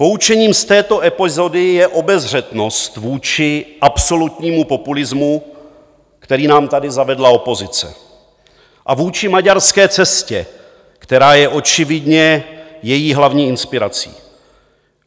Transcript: Poučením z této epizody je obezřetnost vůči absolutnímu populismu, který nám tady zavedla opozice, a vůči maďarské cestě, která je očividně její hlavní inspirací.